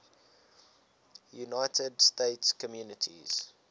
united states communities